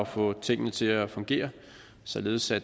få tingene til at fungere således at